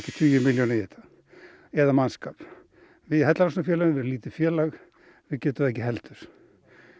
tugi milljóna í þetta eða mannskap er lítið félag við getum það ekki heldur